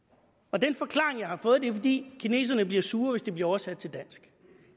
den forklaring jeg har fået er fordi kineserne bliver sure hvis det bliver oversat til dansk